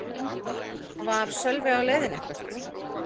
Var Sölvi á leiðinni eitthvert?